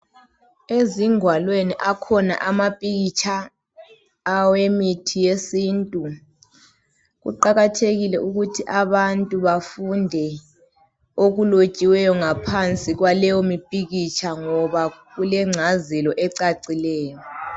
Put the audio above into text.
Ezingalweni akhona amapikitsha awemithi yesintu kuqakethekile ukuthi abantu bafunde okulotshiweyo ngaphansi kwaleyo mpikitsha ngoba kulengcazelo ecacileyo.